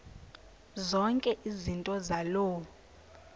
zonke izinto zaloo